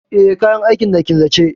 Eh, kayan aikin na a killace.